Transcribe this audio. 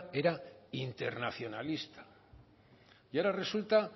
era internacionalista y ahora resulta